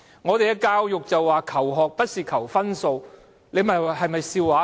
本港的教育提倡"求學不是求分數"，這是否笑話呢？